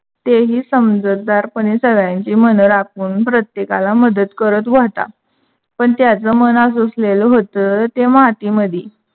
तेही समजूतदारपणे मने राखून प्रत्येकाला मदत करत होता. पण त्याच मन आसुसलेल होता ते माती मध्ये